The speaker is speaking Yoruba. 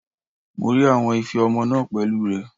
Mo rí àwọn ife ọmọ náà pẹ̀lú rẹ̀.